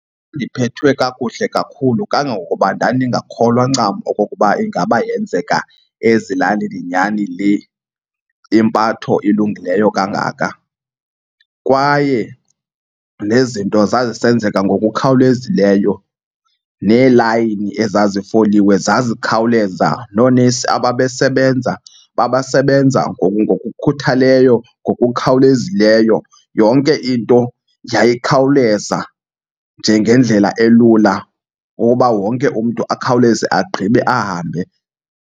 Ndiphethwe kakuhle kakhulu kangangokuba ndandikholwa ncam okokuba ingaba yenzeka ezilalini nyhani le impatho ilungileyo kangaka. Kwaye nezinto zazisenzeka ngokukhawulezileyo, neelayini ezazifoliwe zazikhawuleza, noonesi ababesebenza babesebenza ngokukhuthaleyo ngokukhawulezileyo. Yonke into yayikhawuleza nje ngendlela elula woba wonke umntu akhawuleze agqibe ahambe.